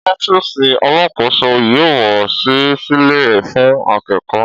Ọfísì Àlàkósó yio wà sí sílè fún àkẹkọ.